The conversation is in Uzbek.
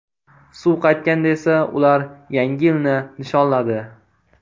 Suv qaytganda esa ular Yangi yilni nishonladi.